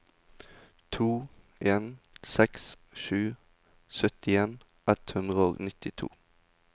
to en seks sju syttien ett hundre og nittito